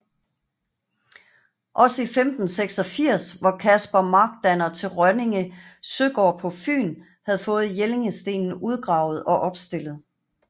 Også i 1586 hvor Caspar Markdanner til Rønninge Søgård på Fyn havde fået Jellingstenen udgravet og opstillet